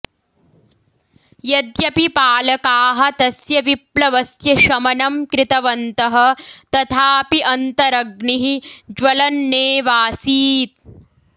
यद्यपि पालकाः तस्य विप्लवस्य शमनं कृतवन्तः तथापि अन्तरग्निः ज्वलन्नेवासीत्